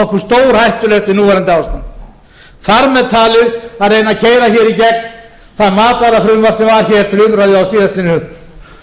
okkur stórhættulegt við núverandi ástand þar með talið að reyna að keyra hér í gegn það matvælafrumvarp sem var til umræðu á slvori en